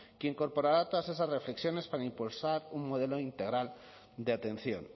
que incorporará todas esas reflexiones para impulsar un modelo integral de atención